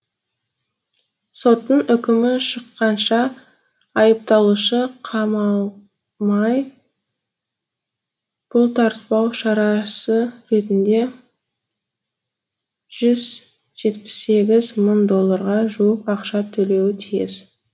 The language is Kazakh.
соттың үкімі шыққанша айыпталушы қамалмай бұлтартпау шарасы ретінде жүз жетпіс сегіз мың долларға жуық ақша төлеуі тиіс